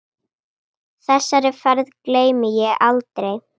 Þessari ferð gleymi ég aldrei.